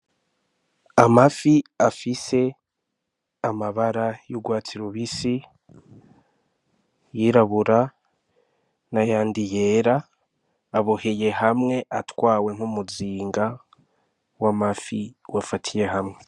Amafi afise amabara y'urwatsi rubisi, ayirabura n'ayandi yera, aboheye hamwe atwawe nk'umuzinga w'amafi wafatiye hamwe.